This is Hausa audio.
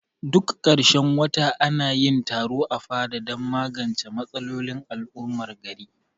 Duk karshen wata anayin taro a fada dan magance matsalolin al'ummar gari